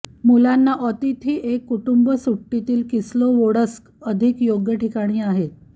मुलांना अतिथी एक कुटुंब सुट्टीतील किस्लोवोडस्क अधिक योग्य ठिकाणी आहेत